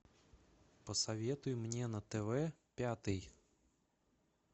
посоветуй мне на тв пятый